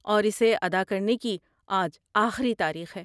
اور اسے ادا کرنے کی آج آخری تاریخ ہے۔